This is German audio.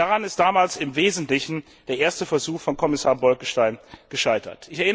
Daran ist damals im Wesentlichen der erste Versuch von Kommissar Bolkestein gescheitert.